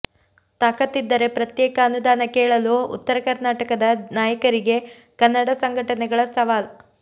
ತಾಕತ್ತಿದ್ದರೆ ಪ್ರತ್ಯೇಕ ಅನುದಾನ ಕೇಳಲು ಉತ್ತರ ಕರ್ನಾಟಕದ ನಾಯಕರಿಗೆ ಕನ್ನಡ ಸಂಘಟನೆಗಳ ಸವಾಲ್